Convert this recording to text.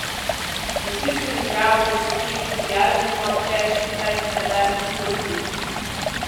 Ne zdi se mi prav, da se s tem sprijaznimo, češ, saj se ne da nič storiti.